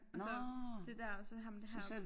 Altså det dér og så har man det heroppe